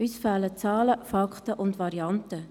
Uns fehlen Zahlen, Fakten und Varianten.